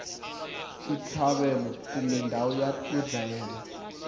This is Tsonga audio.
xitlhavelo kumbe ndhawu yo dlayela